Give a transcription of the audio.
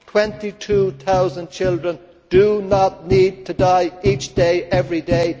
Twenty two thousand children do not need to die each day, every